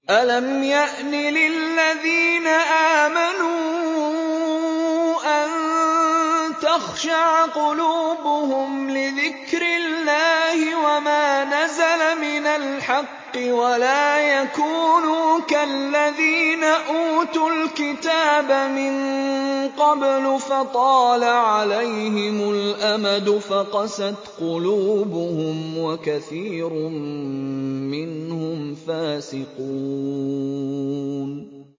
۞ أَلَمْ يَأْنِ لِلَّذِينَ آمَنُوا أَن تَخْشَعَ قُلُوبُهُمْ لِذِكْرِ اللَّهِ وَمَا نَزَلَ مِنَ الْحَقِّ وَلَا يَكُونُوا كَالَّذِينَ أُوتُوا الْكِتَابَ مِن قَبْلُ فَطَالَ عَلَيْهِمُ الْأَمَدُ فَقَسَتْ قُلُوبُهُمْ ۖ وَكَثِيرٌ مِّنْهُمْ فَاسِقُونَ